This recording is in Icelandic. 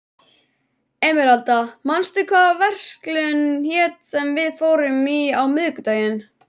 Emeralda, manstu hvað verslunin hét sem við fórum í á miðvikudaginn?